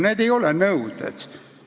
Need ei ole nõuded.